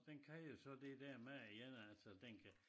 Den kan jo så det dér med igen altså den kan